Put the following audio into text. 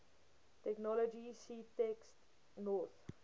technology ctext north